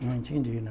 Não entendi, não.